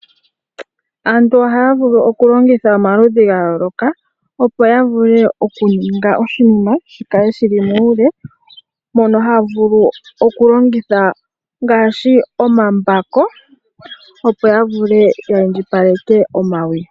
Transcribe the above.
Aantu ohaya vulu okulongitha omaludhi gayooloka opo yavule okuninga oshinima shikale shili muule, mono haya vulu okulongitha ngaashi omambako opo yavule ya indjipaleke omawi.